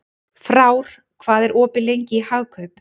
Frár, hvað er opið lengi í Hagkaup?